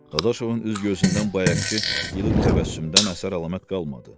Dadaşovun üz-gözündən bayaqkı ilıq təbəssümdən əsər-əlamət qalmadı.